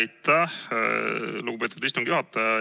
Aitäh, lugupeetud istungi juhataja!